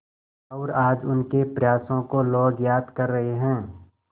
और आज उनके प्रयासों को लोग याद कर रहे हैं